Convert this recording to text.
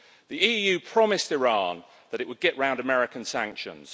The EU promised Iran that it would get round American sanctions.